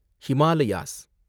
Himalayas